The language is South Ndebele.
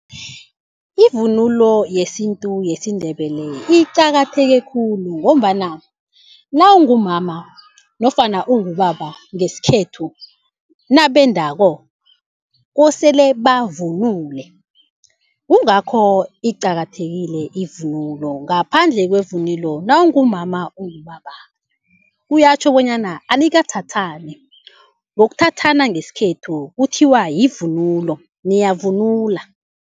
Ivunulo yesintu yesiNdebele iqakatheke khulu ngombana nawungumama nofana ungubaba ngesikhethu nabendako kosele bavunule. Kungakho iqakathekile ivunulo, ngaphandle kwevunulo nawungumama ungubaba kuyatjho bonyana anikathathani, ngokuthathana ngesikhethu kuthiwa yivunulo niyavunula.